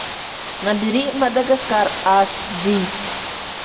набери мадагаскар аш ди